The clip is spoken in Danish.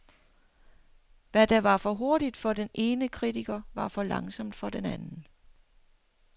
Hvad der var for hurtigt for den ene kritiker, var for langsomt for den anden.